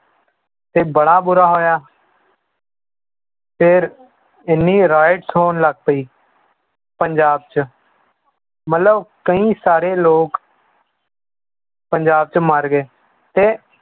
ਤੇ ਬੜਾ ਬੁਰਾ ਹੋਇਆ ਫਿਰ ਇੰਨੀ rights ਹੋਣ ਲੱਗ ਪਈ ਪੰਜਾਬ 'ਚ ਮਤਲਬ ਕਈ ਸਾਰੇ ਲੋਕ ਪੰਜਾਬ 'ਚ ਮਰ ਗਏ ਤੇ